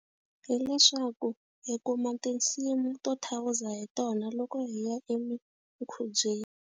Hileswaku hi kuma tinsimu to thawuza hi tona loko hi ya emikhubyeni.